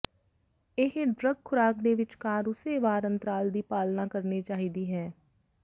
ਇਹ ਡਰੱਗ ਖ਼ੁਰਾਕ ਦੇ ਵਿਚਕਾਰ ਉਸੇ ਵਾਰ ਅੰਤਰਾਲ ਦੀ ਪਾਲਣਾ ਕਰਨੀ ਚਾਹੀਦੀ ਹੈ